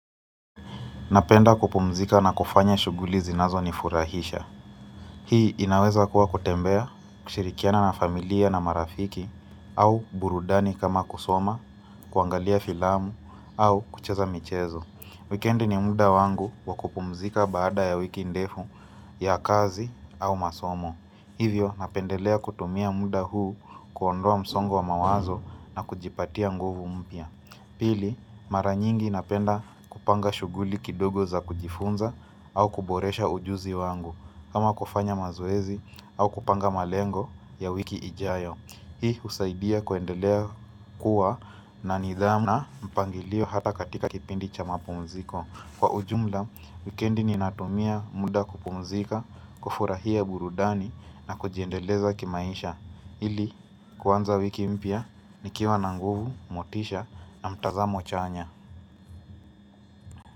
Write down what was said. Napenda kupumzika na kufanya shughuli zinazo nifurahisha. Hii inaweza kuwa kutembea, kushirikiana na familia na marafiki, au burudani kama kusoma, kuangalia filamu, au kucheza michezo. Wikendi ni muda wangu wa kupumzika baada ya wiki ndefu ya kazi au masomo. Hivyo napendelea kutumia muda huu kuondoa msongo wa mawazo na kujipatia nguvu mpya. Pili, mara nyingi napenda kupanga shughuli kidogo za kujifunza au kuboresha ujuzi wangu kama kufanya mazoezi au kupanga malengo ya wiki ijayo Hii husaidia kuendelea kuwa na nidhamu na mpangilio hata katika kipindi cha mapumziko. Kwa ujumla, wikendi ni natumia muda kupumzika, kufurahia burudani na kujiendeleza kimaisha ili kuanza wiki mpya nikiwa na nguvu, motisha na mtazamo chanya.